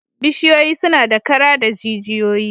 Bishiyoyi suna da kara da jijiyoyi